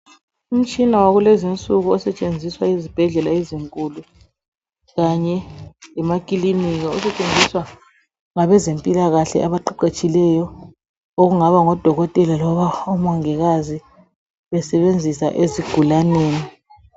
Umtshina wakulezinsuku osetshenziswa yizibhedlela ezinkulu kanye lemakilinika. Osetshenziswa ngabezempilakahle abaqeqetshileyo okungaba ngodokotela loba omongikazi besebenzisa ezigulaneni.